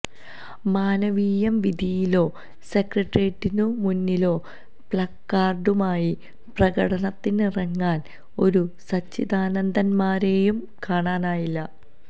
മാനവീയം വീഥിയിലോ സെക്രട്ടേറിയറ്റിനു മുന്നിലോ പ്ലക്കാര്ഡുമായി പ്രകടനത്തിനിറങ്ങാന് ഒരു സച്ചിദാനന്ദന്മാരെയും കാണാനായില്ല